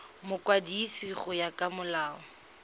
mokwadisi go ya ka molao